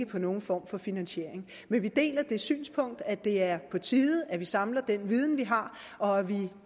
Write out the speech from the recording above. på nogen form for finansiering men vi deler det synspunkt at det er på tide at vi samler den viden vi har og at vi